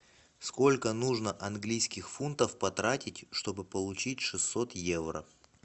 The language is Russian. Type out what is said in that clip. сколько нужно английских фунтов потратить чтобы получить шестьсот евро